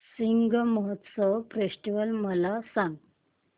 Shigmotsav festival मला सांग